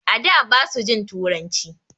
A da basu jin turanci.